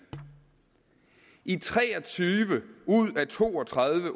i tre og tyve ud af to og tredive